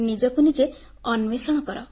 ନିଜକୁ ନିଜେ ଅନ୍ୱେଷଣ କର